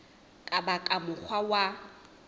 ka ba ka mokgwa wa